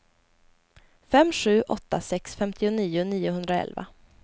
fem sju åtta sex femtionio niohundraelva